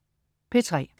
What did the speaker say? P3: